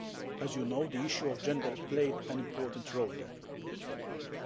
As you know, the issue of gender played an important role there.